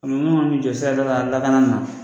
Nunnu ŋan'i jɔ sirada la an lakani na